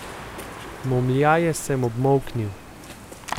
Momljaje sem obmolknil.